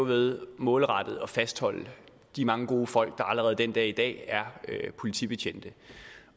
ved målrettet at fastholde de mange gode folk der allerede den dag i dag er politibetjente